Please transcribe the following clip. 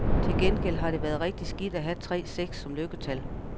Til gengæld har det været rigtig skidt at have tre seks som lykketal.